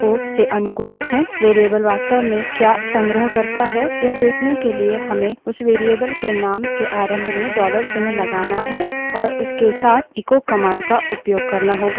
variable वास्तव में क्या संग्रह करता है यह देखने के लिए हमें उस variable के name के आरंभ में dollar चिन्ह लगाना है और उसके साथ echo command का उपयोग करना होगा